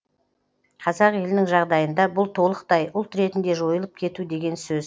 қазақ елінің жағдайында бұл толықтай ұлт ретінде жойылып кету деген сөз